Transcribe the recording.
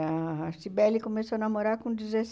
A Cybele começou a namorar com